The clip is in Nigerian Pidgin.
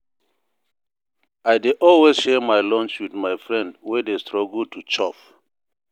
I dey always share my lunch wit my friend wey dey struggle to chop.